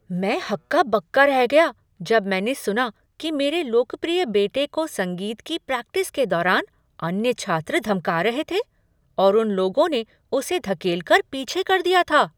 मैं हक्का बक्का रह गया जब मैंने सुना कि मेरे लोकप्रिय बेटे को संगीत की प्रैक्टिस के दौरान अन्य छात्र धमका रहे थे और उन लोगों ने उसे धकेल कर पीछे कर दिया था।